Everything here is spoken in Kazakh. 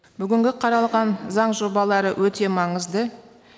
бүгінгі қаралған заң жобалары өте маңызды